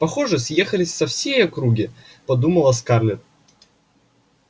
похоже съехались со всей округи подумала скарлетт